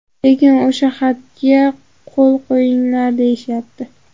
Lekin o‘sha xatga qo‘l qo‘yinglar deyishyapti.